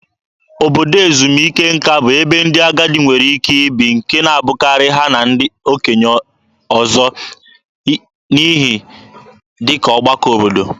Obodo ezumike nka bụ ebe ndị agadi nwere ike ibi, nke na-abụkarị ha na ndị okenye ọzọ, n'ihe dị ka ọgbakọ obodo.